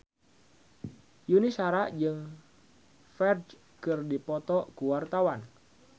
Yuni Shara jeung Ferdge keur dipoto ku wartawan